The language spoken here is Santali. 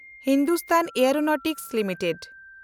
Hindustan aeronautical limited